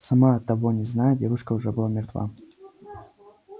сама того не зная девушка уже была мертва